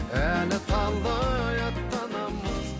әлі талай аттанамыз